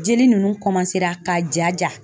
Jeli ninnu ka jaja.